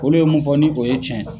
Olu ye mun fɔ ni o ye tiɲɛ ye